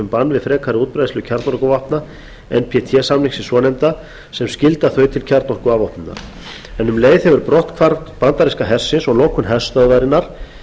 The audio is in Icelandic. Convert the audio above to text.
við frekari útbreiðslu kjarnorkuvopna en samningsins svonefnda sem skylda þau til kjarnorkuafvopnunar en um leið hefur brotthvarf bandaríska hersins og lokun herstöðvarinnar